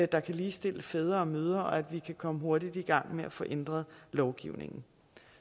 der kan ligestille fædre og mødre og at vi kan komme hurtigt i gang med at få ændret lovgivningen